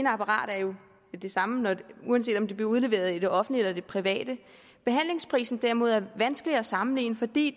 apparatet er jo det samme uanset om det bliver udleveret i det offentlige eller i det private behandlingspriserne derimod er vanskelige at sammenligne fordi